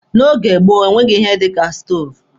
N'oge gboo, enweghị ihe dika stoovu.